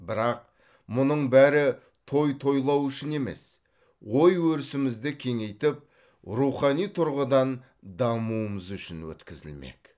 бірақ мұның бәрі той тойлау үшін емес ой өрісімізді кеңейтіп рухани тұрғыдан дамуымыз үшін өткізілмек